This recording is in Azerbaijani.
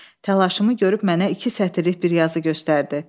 Təlaşımı görüb mənə iki sətirlik bir yazı göstərdi.